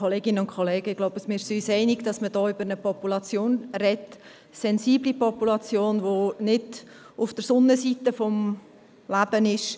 Ich glaube, wir sind uns einig, dass wir hier über eine sensible Population sprechen, die nicht auf der Sonnenseite des Lebens ist.